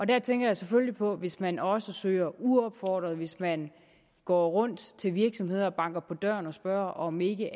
der tænker jeg selvfølgelig på hvis man også søger uopfordret hvis man går rundt til virksomheder og banker på døren og spørger om de ikke